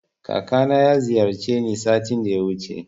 Kakana ya ziyarce ni satin da yawuce